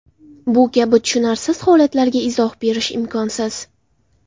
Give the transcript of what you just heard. Bu kabi tushunarsiz holatlarga izoh berish imkonsiz.